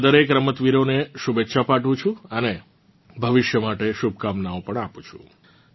હું આ દરેક રમતવીરોને શુભેચ્છા પાઠવું છું અને ભવિષ્ય માટે શુભકામનાઓ પણ આપું છું